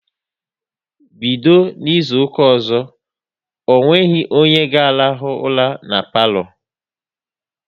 Bido N'izuka ọzọ, onweghi onye ga rahụ ura n'palo